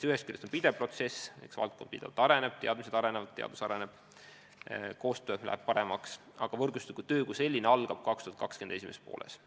Ühest küljest on see pidev protsess – eks valdkond kogu aeg areneb, teadmised laienevad, teadus areneb, koostöö läheb paremaks –, aga võrgustikutöö kui selline algab 2020. aasta esimeses pooles.